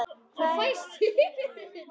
Hvað er að, vinur minn?